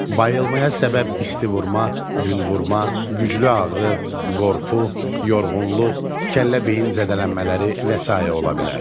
Bayılmaya səbəb isti vurma, gün vurma, güclü ağrı, qorxu, yorğunluq, kəllə-beyin zədələnmələri və sair ola bilər.